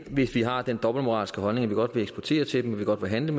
hvis vi har den dobbeltmoralske holdning at vi godt vil eksportere til dem og handle